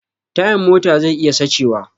Tayan mota zai iya sace wa